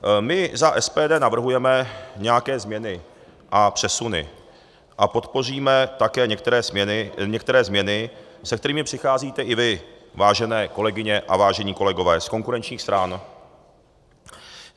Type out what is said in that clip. My za SPD navrhujeme nějaké změny a přesuny a podpoříme také některé změny, se kterými přicházíte i vy, vážené kolegyně a vážení kolegové z konkurenčních stran.